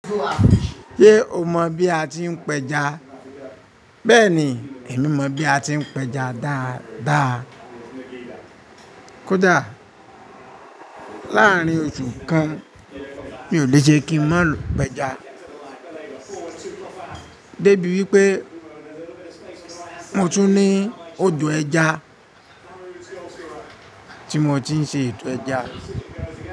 Ṣé o mọ bí a ti ń pẹja? Bẹ́ẹ̀ni, èmi mọ bí a ti ń pẹja dáadáa. Kódà láàárín oṣù kan, mi ò lè ṣe kí ń má lọ pẹja débi wípé mo tún ní òdò ẹja tí mo ti ń ṣe ètò ẹja.